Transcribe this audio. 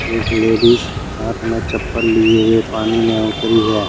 एक लेडीज हाथ में चप्पल लिए हुए पानी में उतरी है।